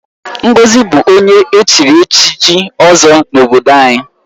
Ngozi bụ onye echiri echichi Ozo n'obodo anyị.